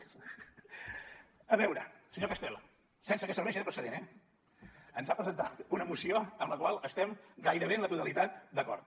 a veure senyor castel sense que serveixi de precedent eh ens ha presentat una moció en la qual estem gairebé en la totalitat d’acord